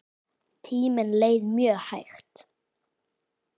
Tíminn leið mjög hægt.